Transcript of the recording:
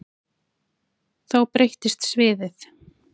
Þá breytist sviðið.